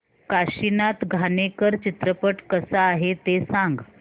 काशीनाथ घाणेकर चित्रपट कसा आहे ते सांग